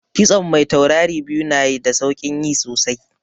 Kitson mai taurari biyu na da saukin yi sosai